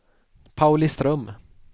Pauliström